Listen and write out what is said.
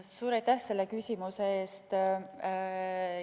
Suur aitäh selle küsimuse eest!